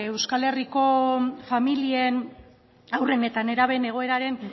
euskal herriko familien haurren eta nerabeen egoeraren